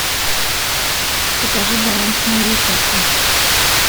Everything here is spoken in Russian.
покажи баланс моей карты